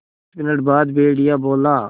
दस मिनट बाद भेड़िया बोला